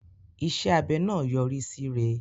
Iṣẹ́ abẹ náà yọrí síre.